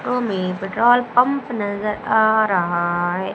Petrol pump नजर आ रहा है।